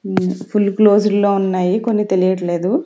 ఉమ్ full closed లో ఉన్నాయి కొన్ని తెలియట్లేదు.